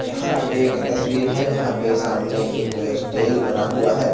यहां पे एक तस्वीर है जहां पे सामने एक स्टेज बना हुआ है।